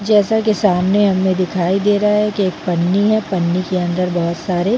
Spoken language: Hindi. जैसा की सामने हमे दिखाई दे रहा है की एक पन्नी है पन्नी के अंदर बहोत सारे--